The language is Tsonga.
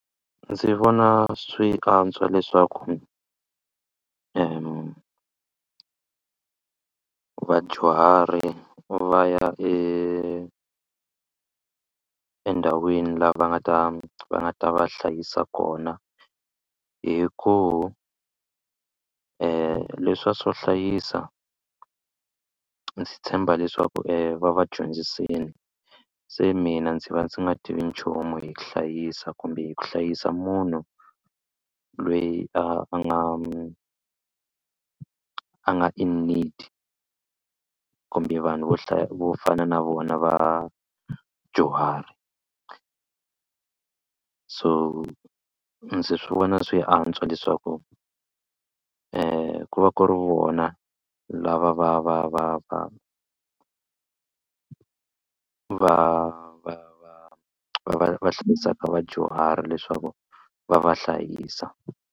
Ndzi vona swi antswa leswaku va vadyuhari va ya e endhawini laha va nga ta va nga ta va hlayisa kona hi ku leswiya swo hlayisa ndzi tshemba leswaku va va dyondzisini se mina ndzi va ndzi nga tivi nchumu hi ku hlayisa kumbe hi ku hlayisa munhu lweyi a nga a nga in need kumbe vanhu vo hlaya vo fana na vona vadyuhari so ndzi swi vona swi antswa leswaku ku va ku ri vona lava va va va va va va va va va va hlayisaka vadyuhari leswaku va va hlayisa.